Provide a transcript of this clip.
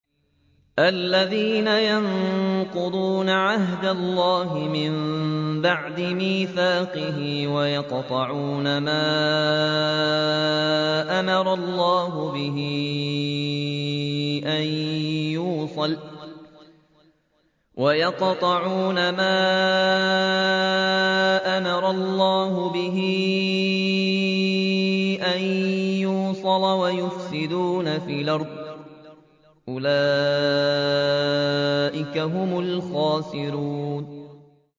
الَّذِينَ يَنقُضُونَ عَهْدَ اللَّهِ مِن بَعْدِ مِيثَاقِهِ وَيَقْطَعُونَ مَا أَمَرَ اللَّهُ بِهِ أَن يُوصَلَ وَيُفْسِدُونَ فِي الْأَرْضِ ۚ أُولَٰئِكَ هُمُ الْخَاسِرُونَ